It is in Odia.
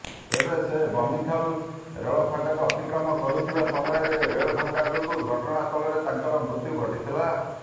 ତେବେ ସେ ବମିଖାଲ ରେଳଫାଟକ ଅତିକ୍ରମ କରୁଥିବା ସମୟରେ ରେଳ ଧକ୍କା ଯୋଗୁଁ ଘଟଣାସ୍ଥଳରେ ତାଙ୍କର ମୃତ୍ୟୁ ଘଟିଥିଲା